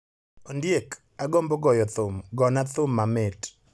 Ondiek, agombo goyo thum. Gona thum mamit.